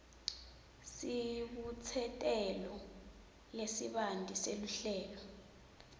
sibutsetelo lesibanti seluhlelo